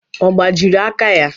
Ọ gbajiri aka ya?